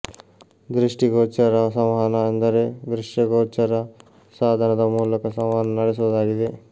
ದೃಷ್ಟಿ ಗೋಚರ ಸಂವಹನ ಎಂದರೆ ದೃಶ್ಯ ಗೋಚರ ಸಾಧನದ ಮೂಲಕ ಸಂವಹನ ನಡೆಸುವುದಾಗಿದೆ